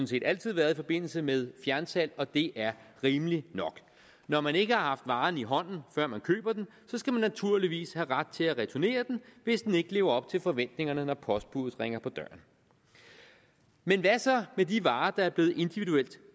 set altid været i forbindelse med fjernsalg og det er rimeligt nok når man ikke har haft varen i hånden før man køber den så skal man naturligvis have ret til at returnere den hvis den ikke lever op til forventningerne når postbuddet ringer på døren men hvad så med de varer der er blevet individuelt